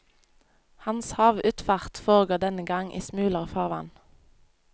Hans havutfart foregår denne gang i smulere farvann.